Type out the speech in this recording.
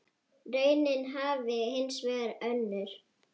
Raunin hafi hins vegar önnur.